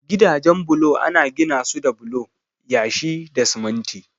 Gidajen bulo ana ginasu da bulo, yashi da siminti.